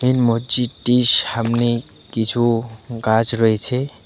এই মজজিদটির সামনে কিছু গাছ রয়েছে।